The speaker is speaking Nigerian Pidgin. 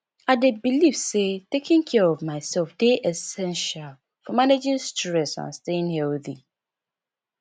i dey believe say taking care of myself dey essential for managing stress and staying healthy